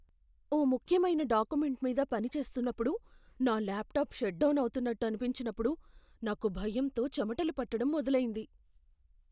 ఓ ముఖ్యమైన డాక్యుమెంట్ మీద పని చేస్తున్నప్పుడు నా ల్యాప్టాప్ షట్ డౌన్ అవుతున్నట్టు అనిపించినప్పుడు నాకు భయంతో చెమటలు పట్టడం మొదలైంది.